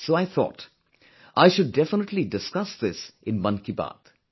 So I thought, I should definitely discuss this in Mann ki Baat